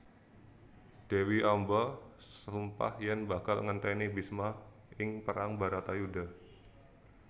Dewi Amba sumpah yen bakal ngenteni Bisma ing perang Baratayuda